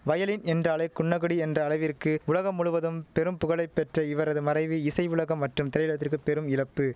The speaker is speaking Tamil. வயலின் என்றாலே குன்னக்குடி என்ற அளவிற்கு உலகம் முழுவதும் பெரும் புகழை பெற்ற இவரது மறைவு இசை உலகம் மற்றும் திரையுலகத்திற்கு பெரும் இழப்பு